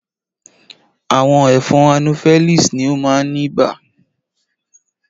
Àwọn ẹ̀fọn anopheles ni ó máa ń ibà.